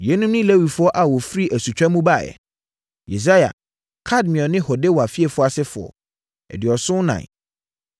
Yeinom ne Lewifoɔ a wɔfiri asutwa mu baeɛ: 1 Yesua (Kadmiel ne Hodewa fiefoɔ) asefoɔ 2 74